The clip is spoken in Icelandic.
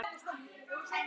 Takk, kæra Helga.